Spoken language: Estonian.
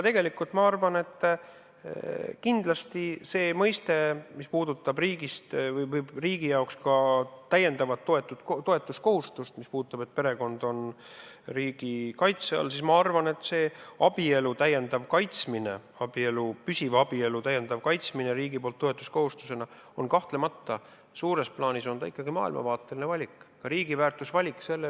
Ma arvan, et see, mis puudutab riigi jaoks ka täiendavat toetuskohustust, sest perekond on riigi kaitse all, siis see abielu täiendav kaitsmine, püsiva abielu täiendav kaitsmine riigi poolt toetuskohustusena on kahtlemata suures plaanis ikkagi maailmavaateline valik, riigi väärtusvalik.